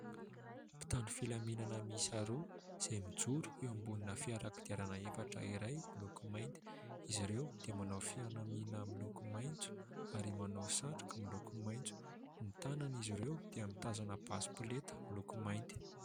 Mpitandro filaminana miisa roa izay mijoro eo ambony fiara kodiarana efatra iray miloko mainty izy ireo, dia manao fianamiana miloko maitso ary manao satroka miloko maitso. Ny tanan' izy ireo dia mitazona basy polenta miloko mainty.